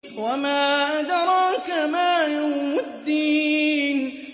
وَمَا أَدْرَاكَ مَا يَوْمُ الدِّينِ